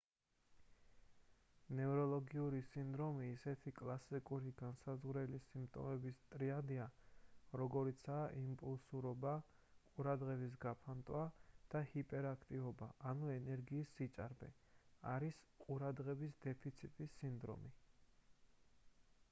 ნევროლოგიური სინდრომი ისეთი კლასიკური განმსაზღვრელი სიმპტომების ტრიადით როგორიცაა იმპულსურობა ყურადღების გაფანტვა და ჰიპერაქტივობა ანუ ენერგიის სიჭარბე არის ყურადღების დეფიციტის სინდრომი